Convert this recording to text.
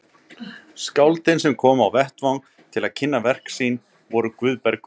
Skáldin sem komu á vettvang til að kynna verk sín voru Guðbergur